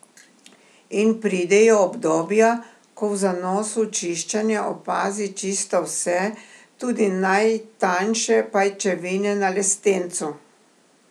In pridejo obdobja, ko v zanosu čiščenja opazi čisto vse, tudi najtanjše pajčevine na lestencu.